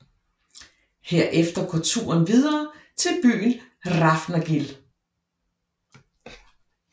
Herefter går turen går videre til byen Hrafnagil